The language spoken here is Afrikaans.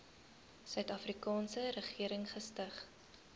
suidafrikaanse regering gestig